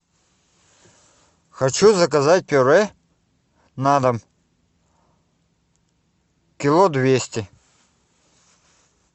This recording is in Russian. хочу заказать пюре на дом кило двести